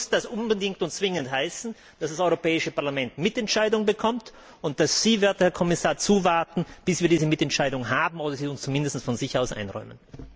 Natürlich muss das unbedingt und zwingend heißen, dass das Europäische Parlament Mitentscheidungsrechte bekommt und dass Sie, werter Herr Kommissar, zuwarten, bis wir diese Mitentscheidung haben, oder sie uns zumindest von sich aus einräumen.